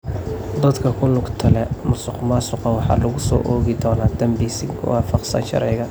Dadka ku lugta leh musuqmaasuqa waxaa lagu soo oogi doonaa daanbi si waafaqsan sharciga.